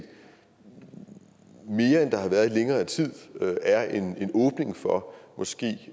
mere end der har været i længere tid er en åbning for måske